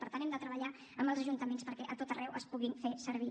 per tant hem de treballar amb els ajuntaments perquè a tot arreu es puguin fer servir